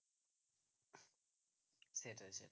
সেটাই সেটাই